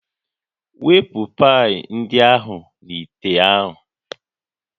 Wepụ pii ndị ahụ n'ite ahụ